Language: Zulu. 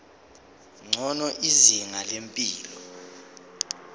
ngcono izinga lempilo